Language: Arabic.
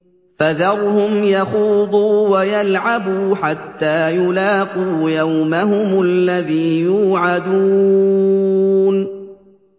فَذَرْهُمْ يَخُوضُوا وَيَلْعَبُوا حَتَّىٰ يُلَاقُوا يَوْمَهُمُ الَّذِي يُوعَدُونَ